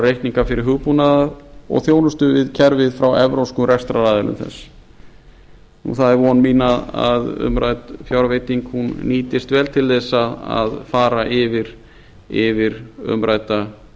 reikninga vegna hugbúnað og þjónustu við kerfið frá evrópskum rekstraraðilum þess það er von mín að umrædd fjárveiting nýtist vel til þess að fara yfir umrædda